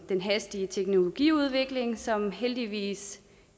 den hastige teknologiudvikling som heldigvis